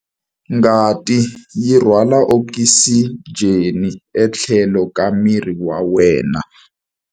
Ngati yi rhwala okisijeni etlhelo ka miri wa wena.